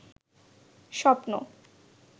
স্বপ্ন